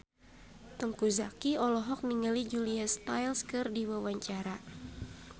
Teuku Zacky olohok ningali Julia Stiles keur diwawancara